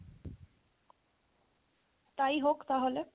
তাই হোক তাহলে।